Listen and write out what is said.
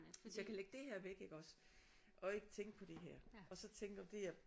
Hvis jeg kan lægge det her væk iggås og ikke tænke på det her og så tænke om det jeg